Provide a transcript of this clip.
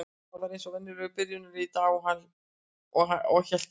Hann var eins og venjulega í byrjunarliðinu í dag og hélt hreinu.